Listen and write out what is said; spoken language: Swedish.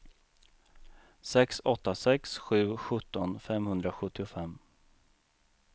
sex åtta sex sju sjutton femhundrasjuttiofem